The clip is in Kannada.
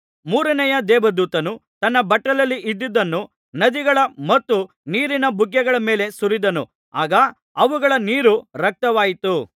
ಮೂರನೆಯ ದೇವದೂತನು ತನ್ನ ಬಟ್ಟಲಲ್ಲಿ ಇದ್ದದ್ದನ್ನು ನದಿಗಳ ಮತ್ತು ನೀರಿನ ಬುಗ್ಗೆಗಳ ಮೇಲೆ ಸುರಿದನು ಆಗ ಅವುಗಳ ನೀರು ರಕ್ತವಾಯಿತು